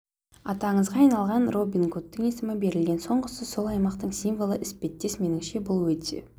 аты аңызға айналған робин гудтың есімі берілген соңғысы сол аймақтың символы іспеттес меніңше бұл өте